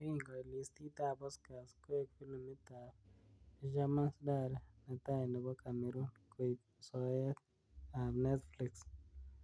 " Yekingoit listit ab Oscars, koek filimit ab Fisherman Dairy netai nebo Cameroon koib soet ab Netflix.